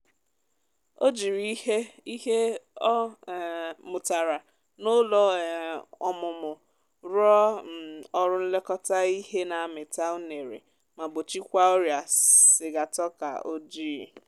o jiri ihe ihe o um mụtara nà ụlọ um ọmụmụ rụọ um ọrụ nlekọta ihe nà amita unere ma gbochikwa ọrịa sigatoka ojịị